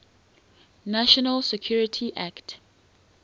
national security act